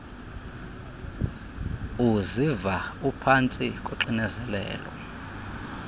uziva uphantsi koxinzelelo